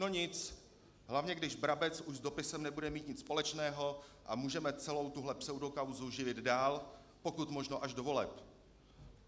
No nic, hlavně když Brabec už s dopisem nebude mít nic společného a můžeme celou tuhle pseudokauzu živit dál, pokud možno až do voleb.